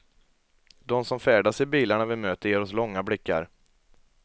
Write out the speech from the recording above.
De som färdas i bilarna vi möter ger oss långa blickar.